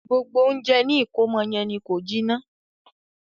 Gbogbo ounjẹ ni ìkómọ yẹn ni ko jiná.